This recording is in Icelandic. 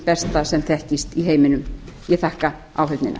besta sem þekkist í heiminum ég þakka áheyrnina